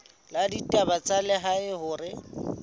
la ditaba tsa lehae hore